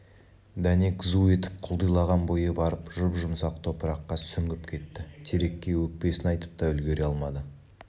дәнек зу етіп құлдилаған бойы барып жұп-жұмсақ топыраққа сүңгіп кетті терекке өкпесін айтып та үлгере алмады